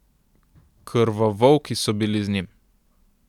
Krvovolki so bili z njim.